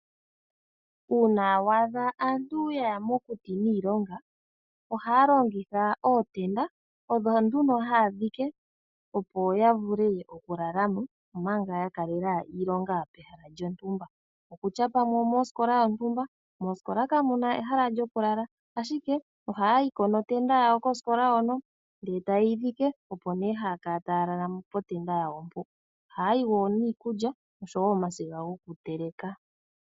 Uuna wa adha aantu yaya mokuti niilonga, ohaya longitha ootenda. Odho nduno haya dhike opo ya vule okulala mo, omanga ya kalela iilonga pehala lyontumba, okutya pamwe omosikola yontumba. Moosikola kamu na ehala lyokulala, ashike ohaya yi ko notenda yawo kosikola hono, ndele taye yi dhike opo nee haya kala taya lala potenda yawo mpo. Ohaya yi wo niikulya, osho wo omasiga gokuteleka.